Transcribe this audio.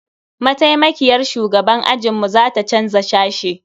Maitaimakiyar shugaban ajinmu za ta canza sashe.